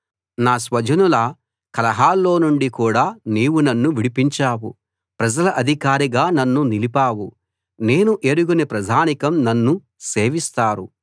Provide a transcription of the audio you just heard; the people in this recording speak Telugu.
నా స్వజనుల కలహాల్లో నుండి కూడా నీవు నన్నువిడిపించావు ప్రజల అధికారిగా నన్ను నిలిపావు నేను ఎరుగని ప్రజానీకం నన్ను సేవిస్తారు